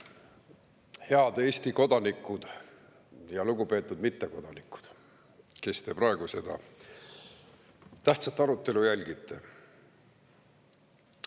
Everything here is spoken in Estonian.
Head Eesti kodanikud ja lugupeetud mittekodanikud, kes te praegu seda tähtsat arutelu jälgite!